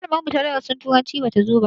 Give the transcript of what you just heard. Malamar mu ta darasin turanci bata zo ba